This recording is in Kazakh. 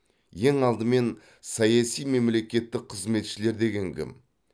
ең алдымен саяси мемлекеттік қызметшілер деген кім